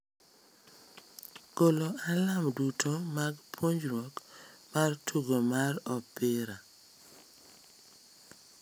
golo alarm duto mag puonjruok mar tugo mar opira